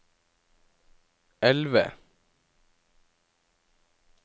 elve